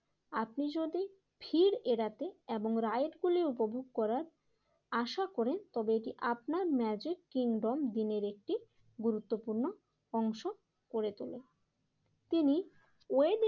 আপনি যদি ভিড় এড়াতে এবং রাইড গুলি উপভোগ করার আশা করেন তবে এটি আপনার ম্যাজিক কিংডম দিনের একটি গুরুত্বপূর্ণ অংশ করে তোলে। তিনি ওয়ে